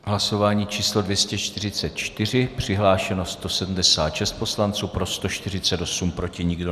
Hlasování číslo 244, přihlášeno 176 poslanců, pro 148, proti nikdo.